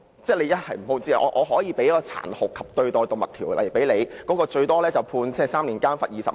根據《防止殘酷對待動物條例》，最高刑罰是監禁3年及罰款20萬元。